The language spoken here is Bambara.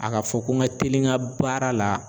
A ka fɔ ko n ka teli n ka baara la.